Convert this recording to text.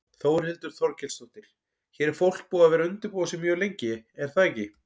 Þórhildur Þorkelsdóttir: Hér er fólk búið að vera undirbúa sig mjög lengi er það ekki?